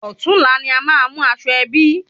Òtún la ni a má mú aṣọ ẹbí